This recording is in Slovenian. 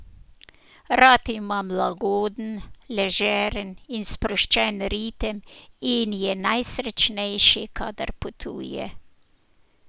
Rad ima lagoden, ležeren in sproščen ritem in je najsrečnejši, kadar potuje.